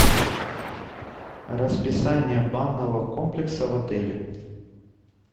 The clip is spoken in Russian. расписание банного комплекса в отеле